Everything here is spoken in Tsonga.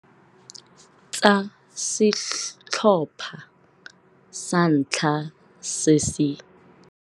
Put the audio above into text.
Tsa setlhopha sa ntlha se se.